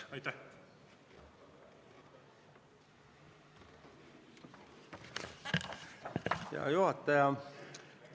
Hea juhataja!